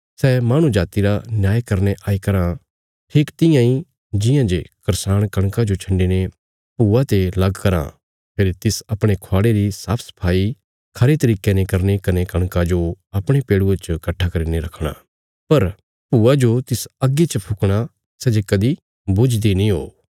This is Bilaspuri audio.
सै माहणु जाति रा न्याय करने आई कराँ ठीक तियां इ जियां जे करसाण कणका जो छन्डी ने भूआ ते लग कराँ फेरी तिस अपणे ख्वाड़े री साफसफाई खरे तरिके ने करनी कने कणका जो अपणे पेड़ुये च कट्ठा करीने रखणा पर भूआ जो तिस अग्गी च फुकणा सै जे कदीं बुझदी नीं हो